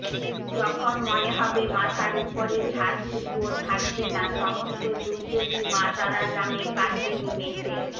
যখন মনে হয়ে মাথার উপরের ছাদটুকুও থাকবেনা সমস্ত দুর্যোগই মা তারার নামে কাটবে নিমেষেই